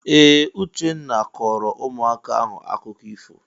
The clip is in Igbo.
Ee! Uchenna kọọrọ ụmụaka ahụ akụkọ ifo.